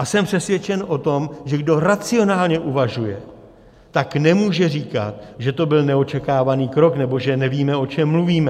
A jsem přesvědčen o tom, že kdo racionálně uvažuje, tak nemůže říkat, že to byl neočekávaný krok nebo že nevíme, o čem mluvíme.